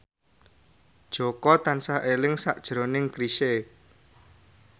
Jaka tansah eling sakjroning Chrisye